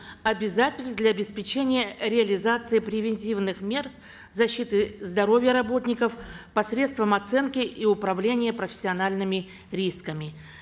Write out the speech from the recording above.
обязательств для обеспечения реализации превентивных мер защиты здоровья работников посредством оценки и управления профессиональными рисками